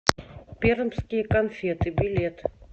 пермские конфеты билет